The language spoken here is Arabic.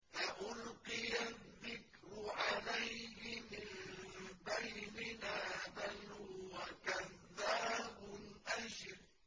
أَأُلْقِيَ الذِّكْرُ عَلَيْهِ مِن بَيْنِنَا بَلْ هُوَ كَذَّابٌ أَشِرٌ